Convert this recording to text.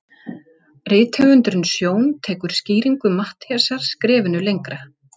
Það berst til hliðanna samfara gliðnuninni og eldra berg sekkur í sæ.